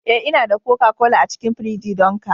Eh, Ina da koka-kola a cikin firiji don ka